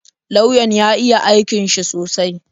Lauyan ya iya aikin shi sosai